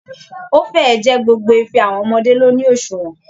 Ó fẹ́ ẹ̀ ẹ́ jẹ́ gbogbo ife àwọn ọmọdé ló ní òṣùwọ̀n